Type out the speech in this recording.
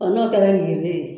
n'o kɛra ŋiriri ye